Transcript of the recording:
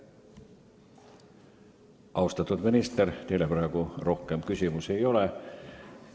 Austatud minister, teile praegu rohkem küsimusi ei ole.